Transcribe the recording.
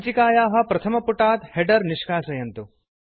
सञ्चिकायाः प्रथमपुटात् हेडर् निष्कासयन्तु